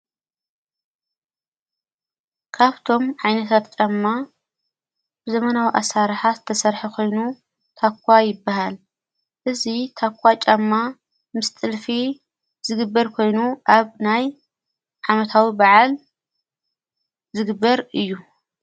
ካብቶም ዓይነትት ጫማ ብዘመናዊ ኣሣርሓት ተሠርሒ ኾይኑ ታኳ ይበሃል እዙ ታኳ ጫማ ምስ ጢልፊ ዝግበር ኮይኑ ኣብ ናይ ዓመታዊ በዓል ዝግበር እዩ።